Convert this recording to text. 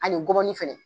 Ani gɔbɔni fɛnɛ